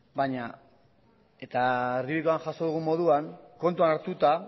erdibidekoan jaso dugun moduan kontuan hartuta